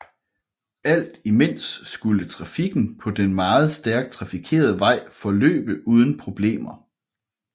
Alt imens skulle trafikken på den meget stærkt trafikerede vej forløbe uden problemer